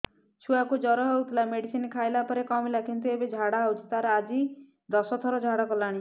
ଛୁଆ କୁ ଜର ହଉଥିଲା ମେଡିସିନ ଖାଇଲା ପରେ କମିଲା କିନ୍ତୁ ଏବେ ଝାଡା ହଉଚି ତାର ଆଜି ଦଶ ଥର ଝାଡା କଲାଣି